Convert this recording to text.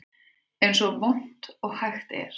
Eins vont og hægt er